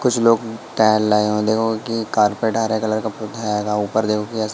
कुछ लोग टहल रहे कार्पेट हरे कलर ऊपर --